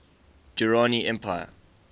durrani empire